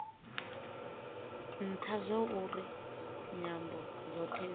ntha zwauri nyambo dzothe dzi